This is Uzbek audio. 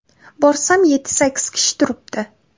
Borsam, yetti-sakkiz kishi turibdi.